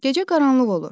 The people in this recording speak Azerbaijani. Gecə qaranlıq olur.